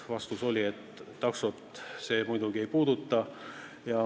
Vastus oli, et taksosid see muidugi ei puuduta.